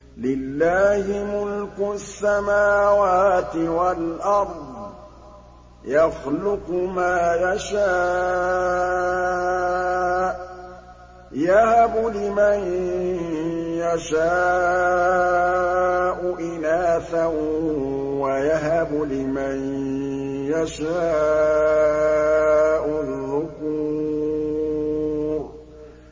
لِّلَّهِ مُلْكُ السَّمَاوَاتِ وَالْأَرْضِ ۚ يَخْلُقُ مَا يَشَاءُ ۚ يَهَبُ لِمَن يَشَاءُ إِنَاثًا وَيَهَبُ لِمَن يَشَاءُ الذُّكُورَ